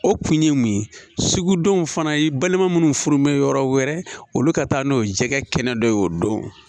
O kun ye mun ye sugudenw fana ye balima minnu furu mɛ yɔrɔ wɛrɛ olu ka taa n'o ye jɛgɛkɛnɛ dɔ y'o don